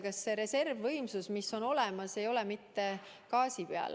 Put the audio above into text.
Kas see reservvõimsus, mis on olemas, ei ole mitte gaasi peal?